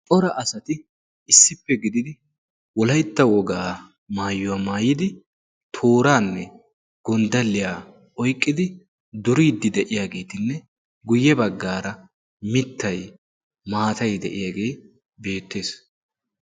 ora asati issippe gididi wolaitta wogaa maayuwaa maayidi tooraanne gonddaliyaa oiqqidi duriiddi de7iyaageetinne guyye baggaara mittai maatai de7iyaagee beettees